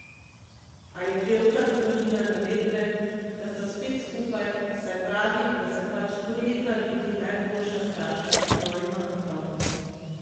A je pevka zavrnila navedbe, da sta spet skupaj, saj pravi, da se pač trudita biti najboljša starša svojima otrokoma.